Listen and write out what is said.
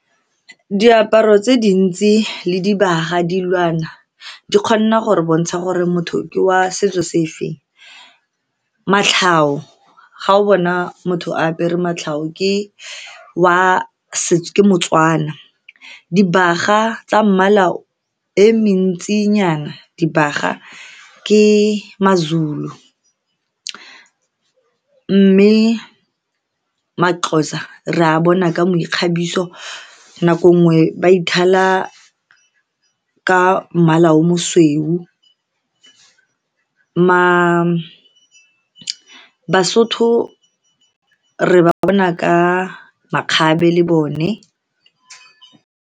Diaparo tse dintsi le dibaga, dilwana di kgona gore bontsha gore motho ke wa setso sefeng. Matlhau, ga o bona motho a apere matlhau, ke wa ke motswana. Dibaga tsa mmala e mentsinyana, dibaga ke maZulu, mme maXhosa re a bona ka meikgabiso. Nako nngwe ba ithala ka mmala o mosweu. Ma, Basotho re ba bona ka makgabe le bone.